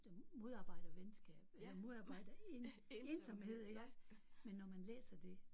Der modarbejder venskab eller modarbejder en ensomhed iggås men når man læser det